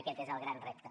aquest és el gran repte